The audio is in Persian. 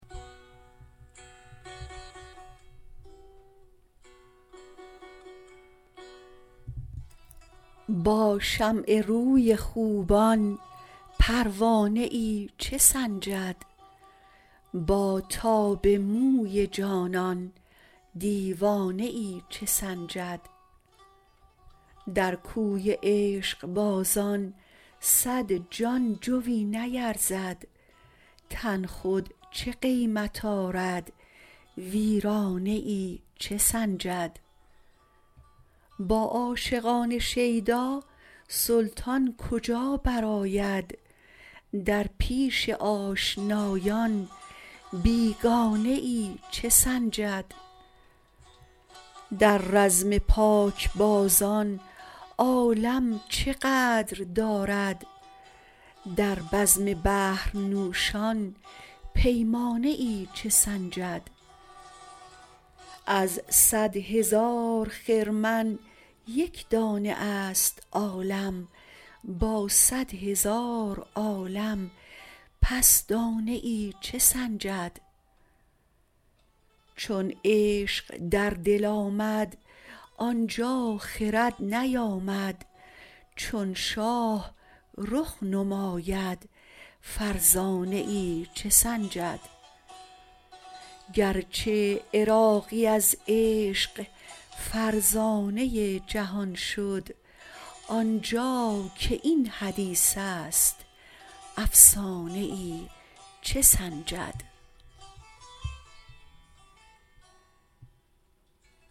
با شمع روی خوبان پروانه ای چه سنجد با تاب موی جانان دیوانه ای چه سنجد در کوی عشقبازان صد جای جوی نیرزد تن خود چه قیمت آردویرانه ای چه سنجد با عاشقان شیدا سلطان کجا برآید در پیش آشنایان بیگانه ای چه سنجد در رزم پاکبازان عالم چه قدر دارد در بزم بحر نوشان پیمانه ای چه سنجد از صدهزار خرمن یک دانه است عالم با صدهزار عالم پس دانه ای چه سنجد چون عشق در دل آمد آنجا خرد نیامد چون شاه رخ نماید فرزانه ای چه سنجد گرچه عراقی از عشق فرزانه جهان شد آنجا که این حدیث است افسانه ای چه سنجد